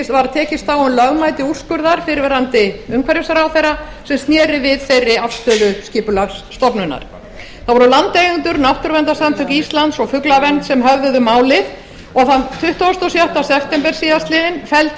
var tekist á um lögmæti úrskurðar fyrrverandi umhverfisráðherra sem sneri við þeirri afstöðu skipulagsstofnunar það voru landeigendur náttúruverndarsamtök íslands og fuglavernd sem höfðuðu málið og þann tuttugasta og sjötta september síðastliðinn felldi